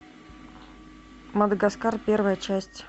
мадагаскар первая часть